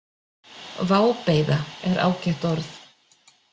Vábeiða er ágætt orð.